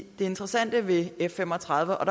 det interessante ved f fem og tredive er